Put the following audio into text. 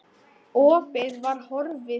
Takka þér fyrir